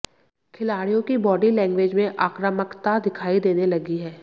खिलाड़ियों की body language में आक्रामकता दिखाई देने लगी है